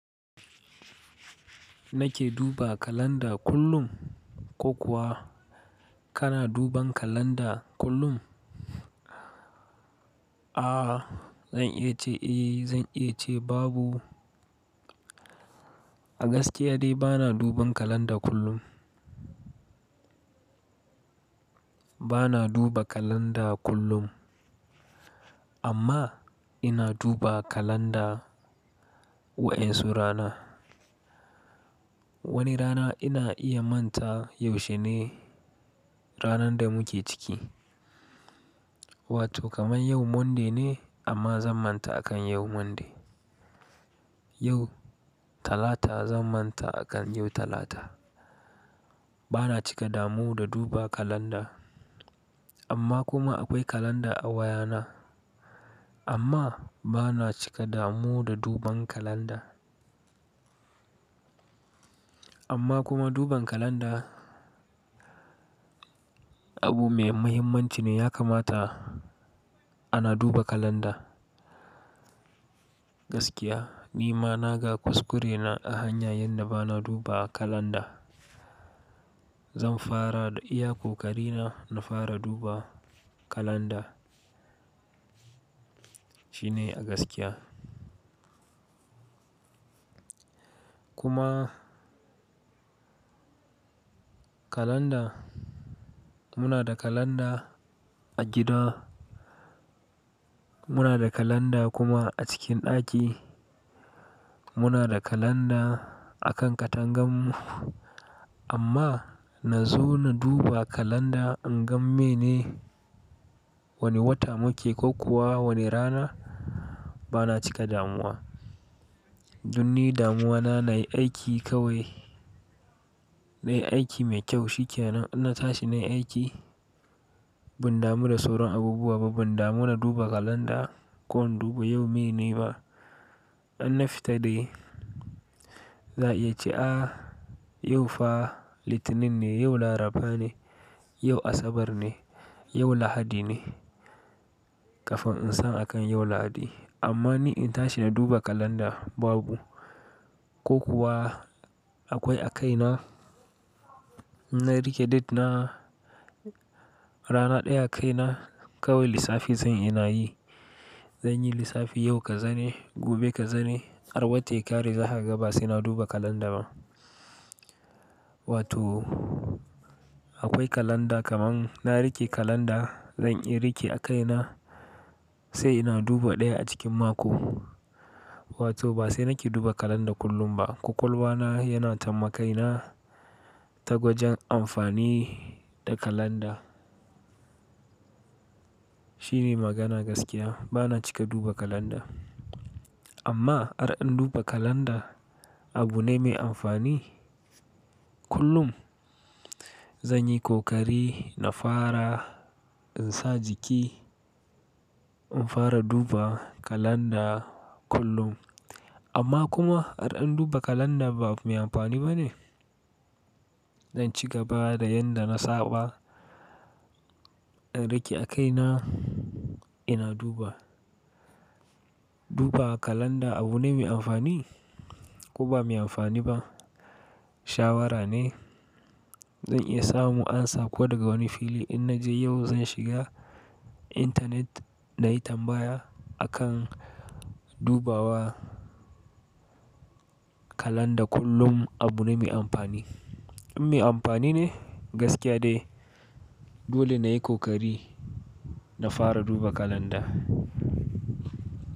Nake duba kalanda kullum ko kuwa kana duban kalanda kullum? A zan iya ce eh, zan iya ce babu. A gaskiya dai bana duban kalanda kullum. Bana duba kalanda kullum amma ina duba kalanda wa'ansu rana. Wani rana ina iya manta yaushe ne ranar da muke ciki. Wato kamar yau Monday ne amma zan manta a kan yau Monday. Yau Talata zan manta a kan yau Talata. Bana cika damu da duba kalanda amma kuma akwai kalanda a wayana. Amma bana cika damu da duban kalanda. Amma kuma duban kalanda abu mai muhimmanci ne ya kamata ana duba kalanda. Gaskiya ni ma naga kuskurena a hanya yanda bana duba kalanda. Zan fara iya kokari na na fara duba kalanda. Shine a gaskiya. Kuma kalanda muna da kalanda a gida. Muna da kalanda kuma a cikin ɗaki. Muna da kalanda a kan katanganmu amma na zo na duba kalanda in gan mene wane wata muke ko kuwa wane rana bana cika damuwa. Dun ni damuwa na nayi aiki kawai. Nayi aiki mai kyau shikenan. Ina tashi nayi aiki. Ban damu da soron abubuwa ba. Ban damu na duba kalanda ko in duba yau mene ba. In na fita dai za a iya ce a yau fa Litinin ne, yau Laraba ne, yau Asabar ne, yau Lahadi ne. Kafin in san akan yau Lahadi. Amma ni in tashi na duba kalanda babu. Ko kuwa akwai a kaina na rike date na rana ɗaya a kaina kawai lissafi zan ina yi. Zan yi lissafi yau ka zane, gobe ka zane, har wata ya kare za kaga ba saina duba kalanda ba. Wato akwai kalanda kamar na rike kalanda zan iya rike a kaina sai ina duba ɗaya a cikin mako. Wato ba sai nake duba kalanda kullum ba. Kwakwalba na yana tambakaina ta gwajin amfani da kalanda. Shine magana gaskiya bana cika duba kalanda. Amma ar in duba kalanda abu ne mai amfani kullum. Zan yi kokari na fara in sa jiki in fara duba kalanda kullum. Amma kuma ar in duba kalanda ba abu mai amfani ba ne? Zan ci gaba da yanda na saba in rike a kaina ina duba. Duba kalanda abu ne mai amfani ko ba mai amfani ba shawarane. Zan iya samu amsa ko daga wani fili in na je yau zan shiga intanet na yi tambaya a kan dubawa kalanda kullum abu ne mai amfani. In mai amfani ne gaskiya dai dole nayi kokari na fara duba kalanda.